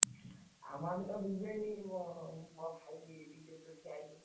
ଆମ ଆମେ ତ BJD ମୋ ମୋ ଭାଇ BJD ରେ ଠିଆ ହେଇଛି।